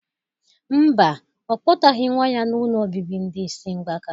Mba, Ọ kpọtaghị nwa ya n'ụlọ obibi ndị isi mgbaka